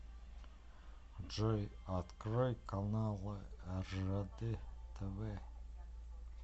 джой открой каналы ржд тв